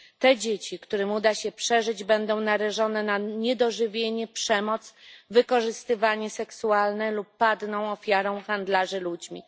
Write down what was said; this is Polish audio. Te dzieci, którym uda się przeżyć, będą narażone na niedożywienie, przemoc, wykorzystywanie seksualne lub padną ofiarą handlarzy ludźmi.